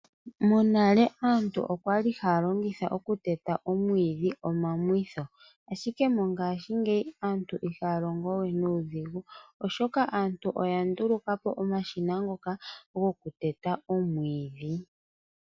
Monale aantu okwali haya longitha okuteta oomwidhi omamwitho ashike mongaashingeyi aantu ihaya longo we nuudhigu oshoka aantu oya ndulukapo omashina ngoka gokuteta omwiidhi.